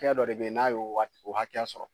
Fɛn dɔ de bɛ yen n'a ye o wagati y'a sɔrɔ